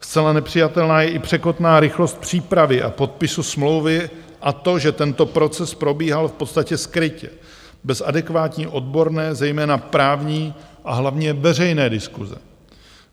Zcela nepřijatelná je i překotná rychlost přípravy a podpisu smlouvy a to, že tento proces probíhal v podstatě skrytě, bez adekvátní odborné, zejména právní, a hlavně veřejné diskuse.